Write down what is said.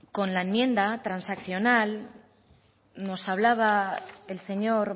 con la enmienda transaccional nos hablaba el señor